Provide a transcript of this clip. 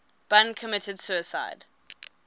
bun committed suicide